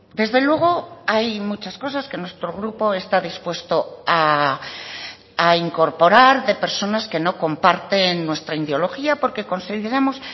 desde luego hay muchas cosas que nuestro grupo está dispuesto a incorporar de personas que no comparten nuestra ideología porque consideramos